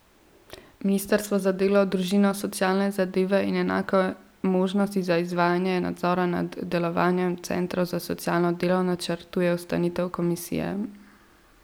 Ministrstvo za delo, družino, socialne zadeve in enake možnosti za izvajanje nadzora nad delovanjem centrov za socialno delo načrtuje ustanovitev komisije.